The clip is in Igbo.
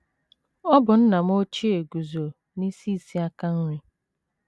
Ọ bụ nna m ochie guzo n’isi isi aka nri.